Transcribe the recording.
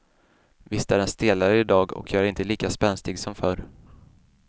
Visst är den stelare idag och jag är inte lika spänstig som förr.